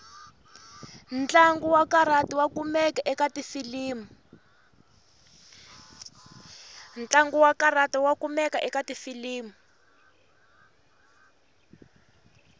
ntlangu wakarati wakumeka ekatifilimu